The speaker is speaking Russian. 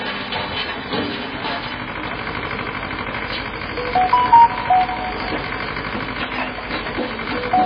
какой законодательный акт устанавливает светский характер образования в гос и муниципальных оу